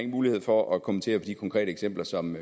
mulighed for at kommentere de konkrete eksempler som